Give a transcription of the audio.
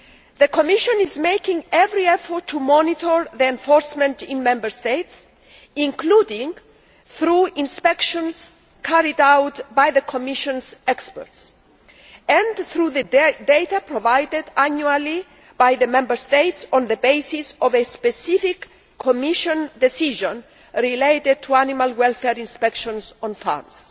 The Commission is making every effort to monitor enforcement in Member States, including through inspections carried out by the Commission's experts, and through the data provided annually by the Member States on the basis of a specific Commission decision related to animal welfare inspections on farms.